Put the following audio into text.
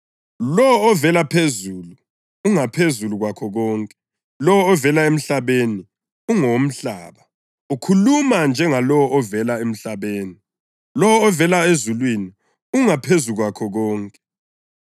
Lowo ovela phezulu ungaphezulu kwakho konke; lowo ovela emhlabeni ungowomhlaba, ukhuluma njengalowo ovela emhlabeni. Lowo ovela ezulwini ungaphezu kwakho konke.